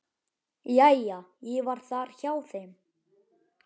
Jæja, ég var þar hjá þeim.